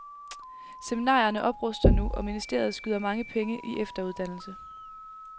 Seminarierne opruster nu, og ministeriet skyder mange penge i efteruddannelse.